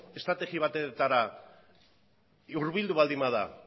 estrategia batetara hurbildu baldin bada